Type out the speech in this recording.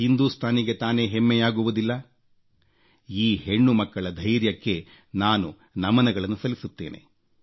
ಹಿಂದೂಸ್ತಾನಿಗೆ ತಾನೇ ಹೆಮ್ಮೆಯಾಗುವುದಿಲ್ಲ ಈ ಹೆಣ್ಣುಮಕ್ಕಳ ಧೈರ್ಯಕ್ಕೆ ನಾನು ನಮನಗಳನ್ನು ಸಲ್ಲಿಸುತ್ತೇನೆ